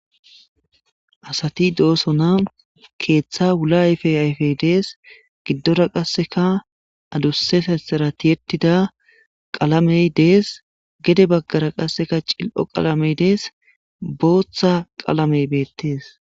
Asati do'osona keeththa wula ayfey ayfey dees giddora qasseka adusse fessara tiyettida qalamey dees gede baggara qasseka cil'o qalamey dees booththa qalamey beettes